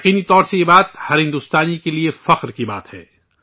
یقینی طور پر، یہ بات ، ہر بھارتی کے لئے فخر کرنے والی بات ہے